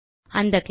அந்த கிளாஸ்